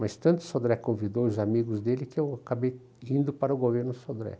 Mas tanto Sodré convidou os amigos dele que eu acabei indo para o governo Sodré.